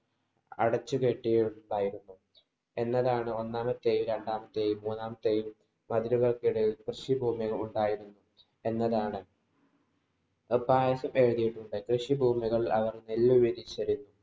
അടച്ചു കെട്ടി ഉണ്ടായിരുന്നു. എന്നതാണ്‌ ഒന്നാമത്തെയും, രണ്ടാമത്തെയും, മൂന്നാമത്തെയും മതിലുകള്‍ക്കിടയില്‍ കൃഷി ഭൂമി ഉണ്ടായിരുന്നു എന്നതാണ്. പയിസ് എഴുതിയിട്ടുണ്ട് കൃഷിഭൂമികള്‍ അവര്‍ നെല്ല് വിരിച്ചൊരു